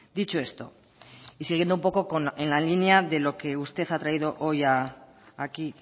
dicho esto y siguiendo un poco en la línea de lo que usted ha traído hoy aquí